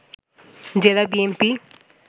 জেলা বিএনপি